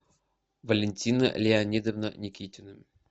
валентина леонидовна никитина